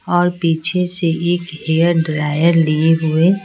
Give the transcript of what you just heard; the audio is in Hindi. और पीछे से एक हेयर ड्रायर लिए हुए --